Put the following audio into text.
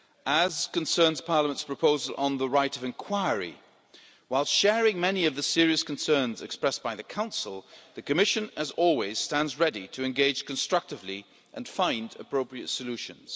As concerns Parliament's proposal on the right of inquiry, while sharing many of the serious concerns expressed by the Council, the Commission, as always, stands ready to engage constructively and find appropriate solutions.